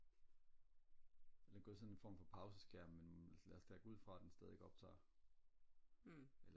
den er gået i sådan en form for pauseskærm men lad os da gå ud fra den stadig optager